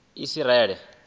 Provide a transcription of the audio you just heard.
isiraele